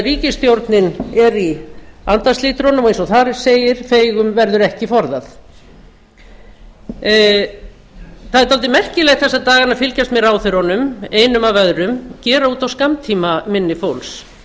ríkisstjórnin er í andarslitrunum og eins og þar segir feigum verður ekki forðað það er dálítið merkilegt þessa dag að fylgjast með ráðherrunum einum af öðrum gera út á skammtímaminni fólks þeir